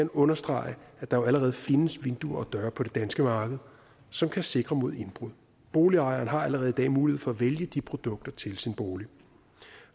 understrege at der jo allerede findes vinduer og døre på det danske marked som kan sikre mod indbrud og boligejeren har allerede i dag mulighed for at vælge de produkter til sin bolig